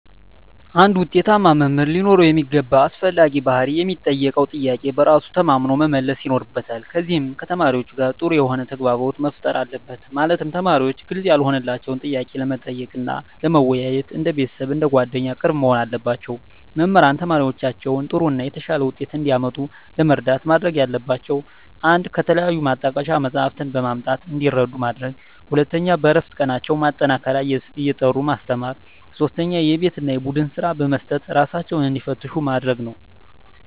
አንድ ውጤታማ መምህር ሊኖረው የሚገባ አስፈላጊ ባህሪ ለሚጠየቀው ጥያቄ በራሱ ተማምኖ መመለስ ይኖርበታል ከዚም ከተማሪዎቹ ጋር ጥሩ የሆነ ተግባቦት መፍጠር አለበት ማለትም ተማሪዎች ግልጽ ያልሆነላቸውን ጥያቄ ለመጠየቅ እና ለመወያየት እንደ ቤተሰብ አንደ ጓደኛ ቅርብ መሆን አለባቸው። መምህራን ተማሪዎቻቸውን ጥሩ እና የተሻለ ውጤት እንዲያመጡ ለመርዳት ማድረግ ያለባቸው 1 ከተለያዩ ማጣቀሻ መፅሃፍትን በማምጣት እንዲረዱ ማድረግ 2 በእረፍት ቀናቸው ማጠናከሪያ እየጠሩ ማስተማር 3 የቤት እና የቡድን ስራ በመስጠት እራሳቸውን እንዲፈትሹ ማድረግ ነው